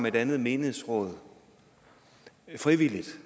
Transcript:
et andet menighedsråd frivilligt